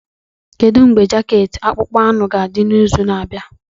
Kedu mgbe jaket akpụkpọ anụ ga-adị n'izu na-abịa?